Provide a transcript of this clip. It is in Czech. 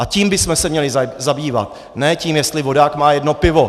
A tím bychom se měli zabývat, ne tím, jestli vodák má jedno pivo.